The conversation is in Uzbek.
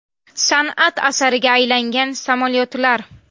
San’at asariga aylangan samolyotlar.